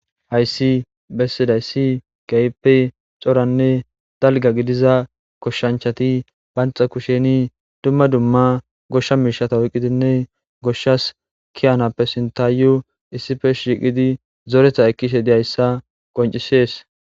hayssi bessidayssi gayppe coranne dalga gidiza koshshanchati banxa kusheni dumma dumma goshsha miishata oyqqidinne goshshas kiyanappe sinta yo issife shiqidi zoretha ekkishe deyayssa qoncisees